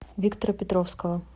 виктора петровского